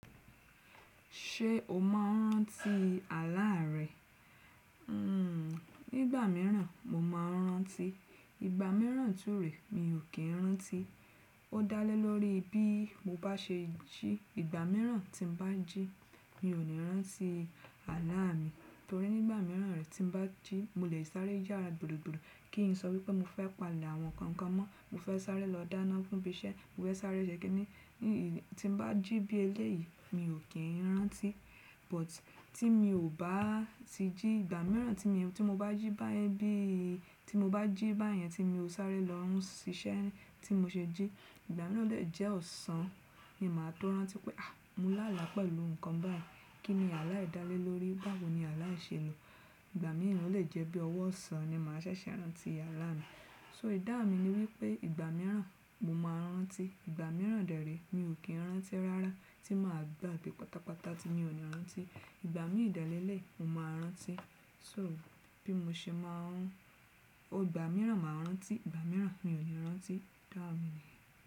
Ṣé o máa ń rántí àlá rẹ? Nigbà mìíràn mo máa ń rántí, ìgbà mìíràn tún rè mi ò kí ń rántí. Ó dá lé lórí bí mo bá ṣe jí. Ìgbà mìíràn tín bá jí mi ò ní rántí àlá mi torí nígbà mìíràn rẹ̀ tín bá jí mo lè sáré yàrá gbùrugburu kí n sọ wípé mo fẹ́ pa'lẹ̀ àwọn nǹkan kan mọ́, mo fẹ́ sáré lọ dáná fún ibi iṣẹ́, mo fẹ́ sáré ṣe kiní tín bá jí bí eléyìí mi ò kí ń rántí. But tí mi ò bá ti jí, ìgbà mìíràn tí mo bá jí bá yẹn bí í tí mo bá jí bá yẹn tí mo sáré lọ sísẹ́ tí mo ṣe jí, ìgbà náà lè jẹ́ ọ̀sán ni màá tó rántí pé à mọ́ lálá pẹ̀lú nǹkan báyìí. Kí ni àlá yiì dálé lórí? Báwo ni àlá yii se n lọ Ìgbà mìíràn lè jẹ́ bí ọwọ́ ọ̀sán ni màá ṣẹ̀ṣẹ̀ rántí àlá mi. So ìdáhun mi ni wípé ìgbà mìíràn mo máa ń rántí, ìgbà mìíràn dẹ̀ rí mi ò kí ń rántí rárá tí màá gbàgbé pátápátá ti mi ò ní rántí. Ìgbà mì dẹ leleyi mo máa rántí. So bí mo ṣe máa ń, oò ìgbà mìíràn màá rántí, ìgbà mìíràn mi ò ní rántí, ìdáhun mi ni.